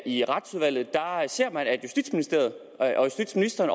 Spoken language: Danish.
i retsudvalget har set at justitsministeriet og justitsministeren